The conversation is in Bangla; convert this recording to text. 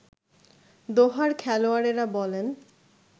দোহার-খেলোয়াড়েরা বলেন